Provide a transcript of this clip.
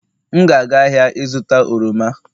M ga-aga ahịa ịzụta oroma